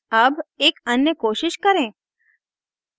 अब एक अन्य कोशिश करें